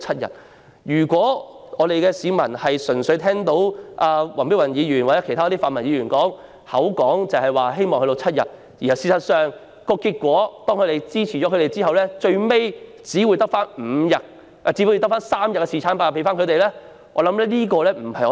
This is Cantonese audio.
如果市民聽到黃碧雲議員或其他泛民議員說希望侍產假可以增至7天後予以支持，但最終卻只維持3天侍產假，我相信這不是他們所想的。